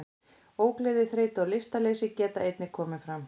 Ógleði, þreyta og lystarleysi geta einnig komið fram.